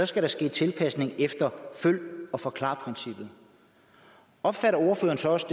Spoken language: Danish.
skal der ske tilpasning efter følg eller forklar princippet opfatter ordføreren så også